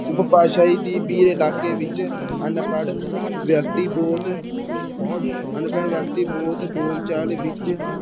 ਉਭਾਸ਼ਾਈ ਇਲਾਕੇ ਵਿੱਚ ਅਨਪੜ੍ਹ ਵਿਅਕਤੀ ਬਹੁਤ ਅਨਪੜ੍ਹ ਵਿਅਕਤੀ ਬਹੁਤ ਬੋਲਚਾਲ ਵਿੱਚ